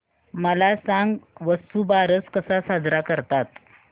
मला सांग वसुबारस कसा साजरा करतात